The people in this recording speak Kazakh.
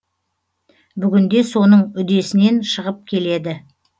бүгінде соның үдесінен шығып келеді